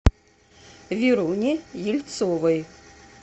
веруне ельцовой